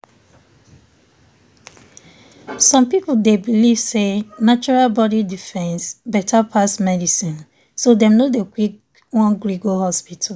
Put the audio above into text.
some people dey believe say natural body defense better pass vaccine so dem no dey quick won gree go hospital.